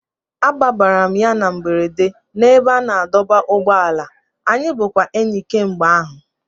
Abara m ya na mberede n'ebe a na-adọba ụgbọala, anyị bụkwa enyi kemgbe ahụ